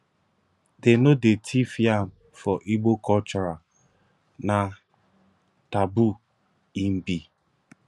dey no dey thief yam for igbo cultural na taboo im be